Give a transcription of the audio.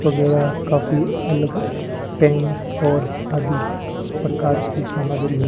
वगैरह काफी अलग पेन और आदि इस प्रकार की सामग्री है।